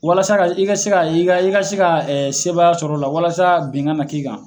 Walasa ka i ka se ka i ka se ka sebaya sɔrɔ o la walasa bin kana k'i kan.